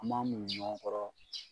An b'an muɲu ɲɔgɔn kɔrɔ.